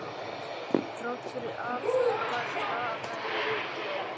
Þrátt fyrir aftakaveður sem komið var, gekk lendingin vel.